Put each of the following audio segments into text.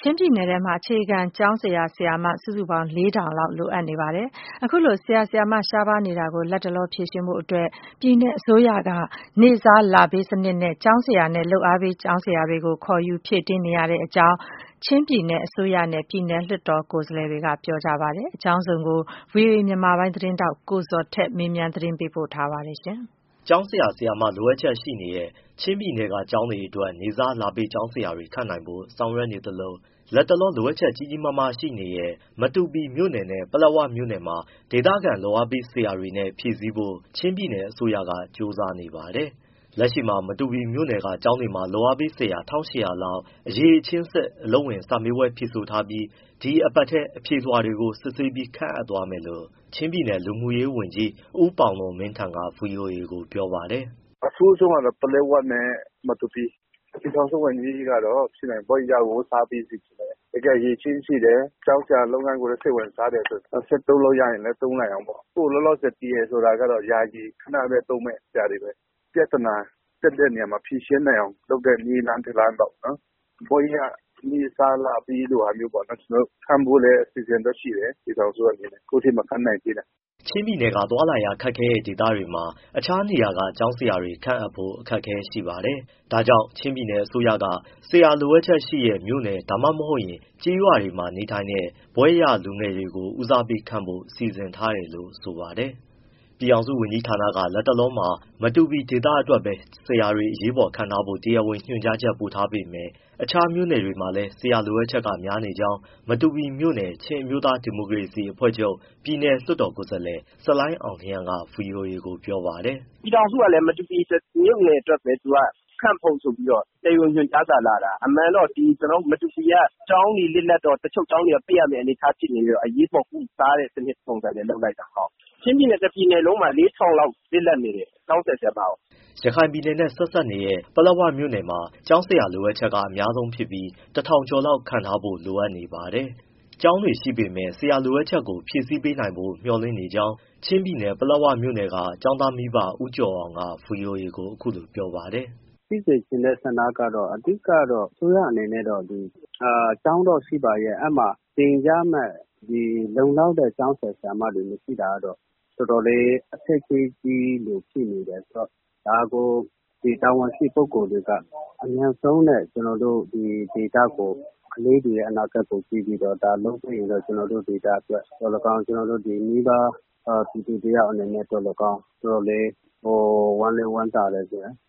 ချင်းပြည်နယ်အတွက် အခြေခံကျောင်းဆရာ၊ ဆရာမ စုစုပေါင်း ၄၀၀၀ လောက် လိုအပ်ချက် ရှိနေပါတယ်။ လက်ရှိမှာ ပြည်နယ်အစိုးရက ဒါကိုဖြည့်ဆည်းနိုင်ဖို့ နေ့စားလပေး ကျောင်းဆရာနဲ့ လုပ်အားပေးကျောင်းဆရာတွေ ခေါ်ယူဖြည့်တင်းနေရကြောင်း ချင်းပြည်နယ် အစိုးရနဲ့ ပြည်နယ်လွှတ်တော် ကိုယ်စားလှယ်တွေကပြောလိုက်ပါတယ်။ အကြောင်းစုံကို ဗွီအိုအေ မြန်မာပိုင်း သတင်းထောက် ကိုဇော်ထက် မေးမြန်းပေးပို့ထားပါတယ်။ ကျောင်းဆရာ၊ ဆရာမ လိုအပ်ချက်ရှိနေတဲ့ ချင်းပြည်နယ်က ကျောင်းတွေအတွက် နေ့စားလပေး ကျောင်းဆရာတွေ ခန့်ဖို့ဆောင်ရွက်သလို၊ လတ်တလော လိုအပ်ချက် ကြီးကြီးမားမားရှိနေတဲ့ မတူပီမြို့နယ်နဲ့ ပလက်ဝမြို့နယ်မှာ ဒေသခံ လုပ်အားပေးဆရာတွေနဲ့ဖြည့်ဆည်းဖို့ ချင်းပြည်နယ် အစိုးရက ကြိုးစားနေပါတယ်။ လက်ရှိမှာ မတူပီမြို့နယ်က ကျောင်းတွေမှာ လုပ်အားပေးဆရာ ၁၈၀၀ လောက် အရည်အချင်းစစ် အလုပ်ဝင် စာမေးပွဲကို ဖြေဆိုထားပြီး၊ ဒီအပတ်ထဲ အဖြေလွှာတွေကို စစ်ဆေးပြီး ခန့်အပ်သွားမယ်လို့ ချင်းပြည်နယ် လူမှုရေးဝန်ကြီး ဦးပေါင်လွန်မင်းထန် က ဗွီအိုအေကို ပြောပါတယ်။ “ အဆိုးဆုံးကတော့ ပလက်ဝနဲ့ မတူပီ။ ပြည်ထောင်စုဝန်ကြီးကတော့ ဖြစ်နိုင်ရင် ဘွဲ့ရကို ထားပေးစေချင်တယ်။ တကယ်အရည်အချင်းရှိတယ်၊ ကျောင်းဆရာလုပ်ငန်းကို စိတ်ဝင်စားတယ်ဆိုရင် ဆက်သုံးလို့ရရင်လည်း သုံးနိုင်အောင်ပေါ့။ အခုလောလောဆယ် ဖြေတာကတော့ ယာယီပေါ့၊ ခဏပဲသုံးမယ့် အရာတွေပဲ၊ ပြဿနာဖြစ်တဲ့ နေရာတွေမှာ ဖြေရှင်းနိုင်အောင်လုပ်တဲ့ နည်းလမ်း တလမ်းပေါ့။ ဘွဲ့ရ နေ့စားလပေးလို ဟာမျိုးပေါ့ ကျနော်တို့ ခန့်ဖို့လည်း အစီအစဉ်တော့ရှိတယ်၊ ပြည်ထောင်စုကနေ။ အခုအထိမခန့်နိုင်သေးဘူး။” ချင်းပြည်နယ်ရဲ့ သွားလာရခက်ခဲတဲ့ ဒေသတွေမှာ အခြားနေရာက ဆရာတွေခန့်ဖို့ အခက်အခဲရှိပါတယ်။ ဒါကြောင့် ချင်းပြည်နယ်အစိုးရက ဆရာလိုအပ်ချက်ရှိတဲ့ မြို့နယ်၊ ဒါမှမဟုတ် ကျေးရွာမှာ နေထိုင်တဲ့ ဘွဲ့ရလူငယ်တွေကို ဦးစားပေးခန့်ဖို့ စီစဉ်ထားတယ်လို့ ဆိုပါတယ်။ ပြည်ထောင်စုဝန်ကြီးဌာနက လက်တလောမှာ မတူပီဒေသအတွက်ပဲ ဆရာတွေ အရေးပေါ်ခန့်ထားဖို့ တရားဝင် ညွှန်ကြားချက်ပေးပို့ထားပေမဲ့ တခြားမြို့နယ်တွေမှာလည်း ဆရာလိုအပ်ချက်က များနေကြောင်း မတူပီမြို့နယ် ချင်းအမျိုးသားဒီမိုကရေစီအဖွဲ့ချုပ် ပြည်နယ်လွှတ်တော်ကိုယ်စားလှယ် ဆလိုင်းအောင်လျဲန်းက ဗွီအိုအေကို ပြောပါတယ်။ “ ပြည်ထောင်စုကလည်း ကျနော်တို့ မတူပီမြို့နယ် အတွက်ပဲ ခန့်ဖို့ဆိုပြီးတော့ တရားဝင်ညွှန်ကြားစာ လာတာ။ အမှန်တော့ ကျနော်တို့ ဒီမတူပီကကျောင်းတွေ လစ်လပ်တော့ တချို့ကျောင်းတွေက ပိတ်ရမယ့် အနေအထား ဖြစ်နေတော့ အရေးပေါ် ကုစားတဲ့စနစ်ပုံစံနဲ့ လုပ်လိုက်တာ။ ချင်းပြည်နယ် တပြည်နယ်လုံးမှာ ၄၀၀၀ လောက် လစ်လပ်နေတယ် ကျောင်းဆရာ၊ ဆရာမကို။” ရခိုင်ပြည်နယ်နဲ့ ဆက်စပ်နေတဲ့ ပလက်ဝမြို့နယ်မှာ ကျောင်းဆရာလိုအပ်ချက် အများဆုံးဖြစ်ပြီး ၁၀၀၀ ကျော်လောက် ခန့်ထားဖို့ လိုအပ်နေပါတယ်။ ကျောင်းတွေရှိပေမဲ့ ဆရာလိုအပ်ချက်ကို ဖြည့်ဆည်းပေးနိုင်ဖို့ မျှော်လင့်ကြောင်း ချင်းပြည်နယ်၊ ပလက်ဝမြို့နယ်က ကျောင်းသားမိဘ ဦးကျော်အောင်က အခုလိုပြောပါတယ်။ “ ဖြစ်စေချင်တဲ့ ဆန္ဒကတော့ အဓိကတော့ အစိုးရအနေနဲ့တော့ ကျောင်းတော့ရှိပါရဲ့ အဲဒီမှာသင်ကြားမယ့် လုံလောက်တဲ့ ကျောင်းဆရာ၊ ဆရာမတွေ မရှိတာကတော့ တော်တော်လေး အခက်အခဲကြီးလိုဖြစ်နေတယ်။ ဒါကို တာဝန်ရှိ ပုဂ္ဂိုလ်တွေက အမြန်ဆုံးနဲ့ ဒီဒေသကို၊ ကလေးတွေရဲ့ အနာဂတ်ကို ကြည့်ပြီးတော့ လုပ်ပေးရင်တော့ ကျနော်တို့ ဒေသအတွက်သော်လည်းကောင်း၊ မိဘပြည်သူတယောက်အနေနဲ့ သော်လည်းကောင်း အတော်လေး ဝမ်းလည်းဝမ်းသာတယ်။”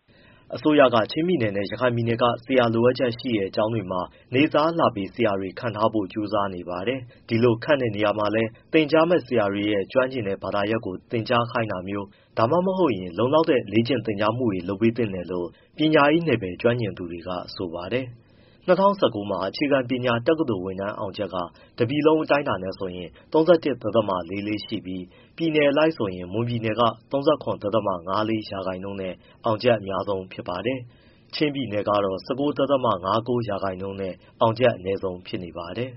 အစိုးရက ချင်းပြည်နယ်နဲ့ ရခိုင်ပြည်နယ်က ဆရာလိုအပ်ချက်ရှိတဲ့ ကျောင်းတွေမှာ နေ့စား၊ လပေး ဆရာတွေခန့်ထားဖို့ ကြိုးစားနေပါတယ်။ ဒီလိုခန့်တဲ့နေရာမှာလည်း သင်ကြားမယ့်ဆရာတွေ ကျွမ်းကျင်တဲ့ ဘာသာရပ်ကို သင်ကြားခိုင်းတာမျိုး၊ ဒါမှမဟုတ် လုံလောက်တဲ့ လေ့ကျင့်သင်ကြားမှုတွေ လုပ်ပေးသင့်တယ်လို့ ပညာရေးနယ်ပယ် ကျွမ်းကျင်သူတွေက ဆိုပါတယ်။ ၂၀၁၉ မှာ အခြေခံပညာ တက္ကသိုလ်ဝင်တန်းအောင်ချက်က တပြည်နယ်လုံးအတိုင်းအတာနဲ့ဆိုရင် ၃၁.၄၄ ရှိပြီး ပြည်နယ်အလိုက်ဆိုရင် မွန်ပြည်နယ်က ၃၇.၅၄% နဲ့ အောင်ချက်အများဆုံးဖြစ်ပြီး၊ ချင်းပြည်နယ်က ၁၉.၅၉ % နဲ့ အောင်ချက် အနည်းဆုံးဖြစ်နေပါတယ်။